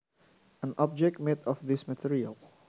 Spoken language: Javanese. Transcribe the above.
An object made of this material